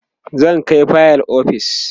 zan Kai fayil ofis